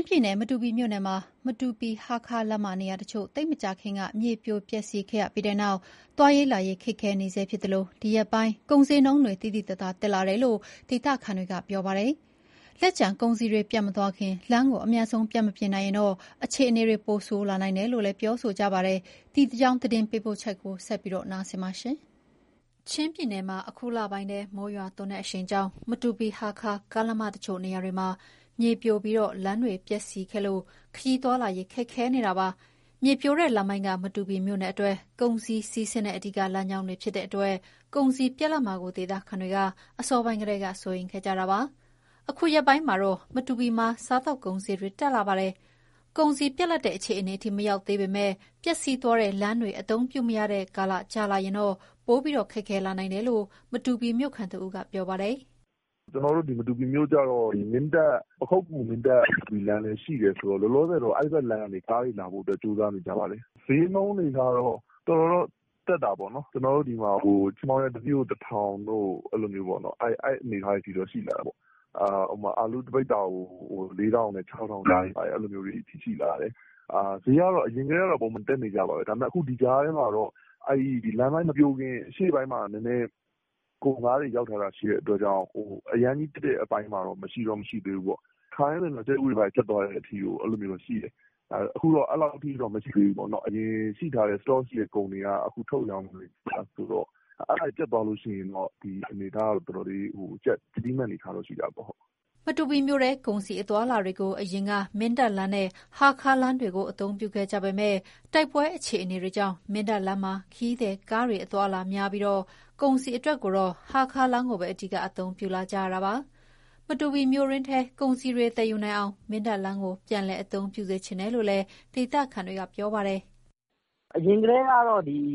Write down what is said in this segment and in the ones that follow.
င်းပြည်နယ်၊ မတူပီမြို့နယ်မှာ မတူပီ-ဟားခါးလမ်းမ နေရာတချို့ သိပ်မကြာခင်က မြေပြိုပျက်စီးခဲ့ရပြီးတဲ့နောက် သွားလာရေးခက်ခဲနေဆဲဖြစ်သလို ဒီရက်ပိုင်း ကုန်ဈေးနှုန်းတွေ သိသိသာသာတက်လာတယ်လို့ ဒေသခံတွေကပြောပါတယ်။ လက်ကျန်ကုန်စည်တွေပြတ်မသွားခင် အမြန်ဆုံး လမ်းပြန်မပြင်နိုင်ရင်တော့ အခြေအနေ ပိုဆိုးလာနိုင်တယ်လို့လည်း ပြောဆိုကြပါတယ်။ ဒီအကြောင်း သတင်းပေးပို့ချက်ကို မသိင်္ဂီထိုက်က တင်ပြပေးထားပါတယ်။ ချင်းပြည်နယ်မှာ အခုလပိုင်းထဲ မိုးရွာသွန်းတဲ့အရှိန်ကြောင့် မတူပီ-ဟားခါး ကားလမ်းမတချို့နေရာတွေမှာ မြေပြိုပြီးလမ်းတွေပျက်စီးခဲ့လို့ ခရီးသွားလာရေး ခက်ခဲနေတာပါ။ မြေပြိုတဲ့လမ်းပိုင်းက မတူပီမြို့အတွက် ကုန်စည်စီးဆင်းတဲ့ အဓိက လမ်းကြောင်းတွေဖြစ်လို့ ကုန်စည်ပြတ်လပ်မှာကို ဒေသခံတွေက အစောပိုင်းကတည်းက စိုးရိမ်ခဲ့ကြတာပါ။ အခုရက်ပိုင်းမှာတော့ မတူပီမှာ စားသောက်ကုန် စျေးတွေတက်လာပါတယ်။ ကုန်စည်ပြတ်တဲ့အခြေအနေအထိ မရောက်သေးပေမဲ့ ပျက်စီးသွားတဲ့လမ်းတွေ အသုံးပြုမရတဲ့ကာလ ကြာလာရင် ပိုပြီး ခက်ခဲလာနိုင်တယ်လို့ မတူပီမြို့ခံတဦးက ပြောပါတယ်။ "ကျနော်တို့ ဒီမတူပီမြို့ကျတော့ ပခုက္ကူ-မင်းတပ်-မတူပီ လမ်းလည်း ရှိတယ်ဆိုတော့ လောလောဆယ် အဲဒီဘက်လမ်းကနေ ကားတွေလာဖို့ ကြိုးစားနေကြပါတယ်။ စျေးနှုန်းတွေကတော့ တော်တော်တော့ တက်တာပေါ့နော်။ ချဉ်ပေါင်ရွက် တစီးကို ၁ ထောင်တို့၊ အဲဒီအနေအထားတွေ ရှိလာတာပေါ့။ အာလူး တပိဿာကို ၄,၀၀၀ ကနေ ၆,၀၀၀ ကြားတွေ၊ အဲလို အနေအထား ရှိလာတယ်။ စျေးကတော့ အရင်ကလည်း ပုံမှန် တက်နေကြပါပဲ။ ဒါပေမဲ့ အခု ဒီကြားထဲမှာတော့ လမ်းပိုင်းမပြိုခင် အရှေ့ပိုင်းမှာ ကုန်ကားတွေ ရောက်ထားတာ ရှိတဲ့အတွက်ကြောင့် အရမ်းကြီး ပြတ်လပ်တဲ့ အပိုင်းတော့ မရှိသေးဘူးပေါ့။ ခါတိုင်းဆိုရင် ကြက်ဥတွေ ဘာတွေ ပြတ်သွားတဲ့အထိ အဲလိုမျိုးတွေ ရှိတယ်။ အခုတော့ အဲလောက်တော့ မဖြစ်သေးဘူးပေါ့။ အရင်ရှိထားတဲ့ ကုန်တွေက အခုထုတ်ရောင်းနေတာ ဆိုတော့ အဲဒါတွေ ပြတ်သွားရင်တော့ ကျပ်တည်းမယ့် အနေအထားတော့ ရှိတာပေါ့။" မတူပီမြို့ထဲ ကုန်စည် အသွားအလာတွေကို အရင်က မင်းတပ်လမ်းနဲ့ ဟားခါးလမ်းတွေကို အသုံးပြုခဲ့ကြပေမဲ့ တိုက်ပွဲအခြေအနေကြောင့် မင်းတပ်လမ်းမှာ ခရီးသည်ကားတွေပဲ အသွားအလာများပြီး ကုန်စည်အတွက်ကိုတော့ ဟားခါးလမ်းကိုပဲ အဓိက အသုံးပြုလာကြတာပါ။ မတူပီမြို့တွင်းထဲကုန်စည်တွေ သယ်ယူနိုင်အောင် မင်းတပ်လမ်းကို ပြန်ပြီး အသုံးပြုစေချင်တယ်လို့လည်း ဒေသခံက ပြောပါတယ်။ "အရင်ကတည်းက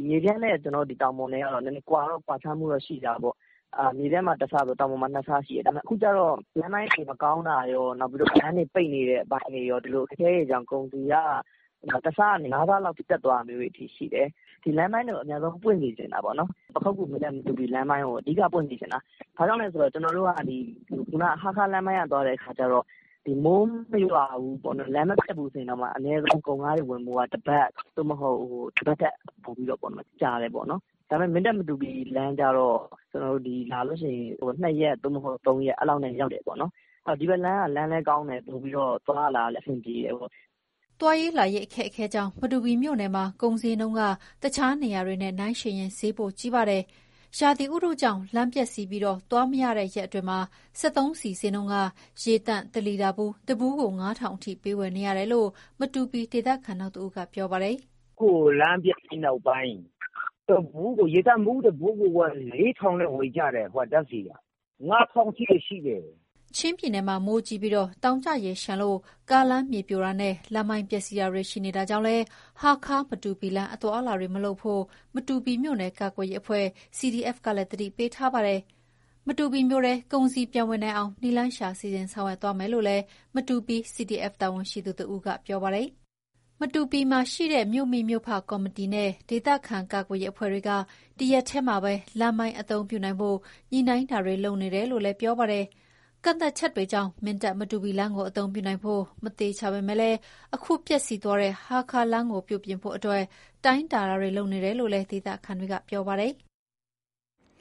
မြေပြန့်နဲ့တောင်ပေါ်နဲ့က ကွာခြားမှုတော့ ရှိတာပေါ့။ မြေပြန့်မှာ တဆဆို တောင်ပေါ်မှာ နှစ်ဆရှိတယ်။ ဒါပေမဲ့ အခုကျတော့ လမ်းပိုင်းတွေ မကောင်းတာရော၊ လမ်းတွေပိတ်နေတဲ့ အပိုင်းတွေရော ကုန်စည်က ၁ ဆကနေ ၅ ဆလောက်အထိ တက်သွားတာမျိုးတွေ ရှိတယ်။ ဒီလမ်းပိုင်းတွေကို အမြန်ဆုံး ပွင့်စေချင်တာပေါ့နော်။ ပခုက္ကူ-မင်းတပ်-မတူပီ လမ်းပိုင်းကို အဓိက ပွင့်စေချင်တာ။ ဘာကြောင့်လဲဆိုတော့ ဟားခါးလမ်းကနေ သွားတဲ့အခါကျတော့ မိုးမရွာဘူး၊ လမ်းမပျက်ဘူးဆိုရင်တောင်မှ ကုန်ကားတွေ ဝင်ဖို့က အနည်းဆုံး တပတ် သို့မဟုတ် တပတ်ထက် ပိုပြီးတော့ ကြာတယ်ပေါ့နော်။ ဒါပေမဲ့ မင်းတပ်-မတူပီ လမ်းကျတော့ လာလို့ရှိရင် ၂ ရက် သို့မဟုတ် ၃ ရက်နဲ့ ရောက်တယ်ပေါ့နော်။ ဒီဘက်လမ်းက လမ်းလည်း ကောင်းတယ်။ သွားလာရတာလည်း ပိုပြီးတော့ အဆင်ပြေတယ်ပေါ့။" သွားလာရေး အခက်အခဲကြောင့် မတူပီမြို့နယ်မှာ ကုန်စျေးနှုန်းက တခြားနေရာတွေနဲ့နှိုင်းယှဉ်ရင် စျေးပိုကြီးပါတယ်။ ရာသီဥတုကြောင့် လမ်းပျက်စီးပြီး သွားမရတဲ့ရက်အတွင်းမှာ စက်သုံးဆီစျေးနှုန်းက ရေသန့်တလီတာဘူး တဘူးကို ၅ ထောင်အထိ ပေးဝယ်နေရတယ်လို့ မတူပီဒေသခံ နောက်တဦးက ပြောပါတယ်။ "အခု လမ်းပျက်ပြီးနောက်ပိုင်း ဓာတ်ဆီက ရေသန့်ဘူး တဘူးကို ၄ ထောင်နဲ့ ဝယ်နေကြရတယ်။ ၅ ထောင်စျေးအထိ ရှိတယ်။" ချင်းပြည်နယ်မှာ မိုးကြီးပြီး တောင်ကျရေလျှံလို့ ကားလမ်းမြေပြိုတာနဲ့ လမ်းပိုင်း ပျက်စီးတာတွေရှိနေတာကြောင့် ဟားခါး-မတူပီလမ်း အသွားအလာတွေ မလုပ်ဖို့ကို မတူပီမြို့နယ် ကာကွယ်ရေးအဖွဲ့ (CDF) ကလည်း သတိပေးထားပါတယ်။ မတူပီမြို့ထဲ ကုန်စည် ပြန်ဝင်နိုင်အောင် နည်းလမ်းရှာ စီစဉ်ဆောင်ရွက် သွားမယ်လို့လည်း မတူပီ CDF တာဝန်ရှိသူ တဦးက ပြောပါတယ်။ မတူပီမှာရှိတဲ့ မြို့မိမြို့ဖ ကော်မတီနဲ့ ဒေသခံကာကွယ်ရေး အဖွဲ့တွေ ဒီရက်ထဲမှာ လမ်းပိုင်း အသုံးပြုနိုင်ဖို့ ညှိနှိုင်းနေတယ်လို့လည်း ပြောပါတယ်။ ကန့်သတ်ချက်တွေကြောင့် မင်းတပ်-မတူပီလမ်းကို အသုံးပြုနိုင်ဖို့မသေချာပေမဲ့ အခုပျက်စီးသွားတဲ့ဟားခါးလမ်းကိုပြုပြင်ဖို့ တိုင်းတာနေတယ်လို့လည်း ဒေသခံတွေက ပြောပါတယ်။